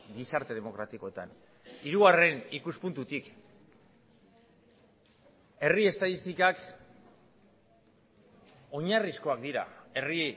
gizarte demokratikoetan hirugarren ikuspuntutik herri estatistikak oinarrizkoak dira herri